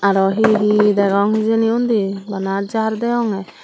aro he he degong hejani unde banna jer degonga.